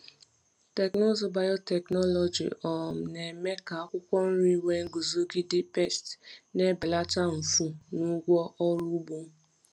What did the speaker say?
Teknụzụ biotechnology um na-eme ka akwụkwọ nri nwee nguzogide pesti, na-ebelata mfu na ụgwọ ọrụ ugbo.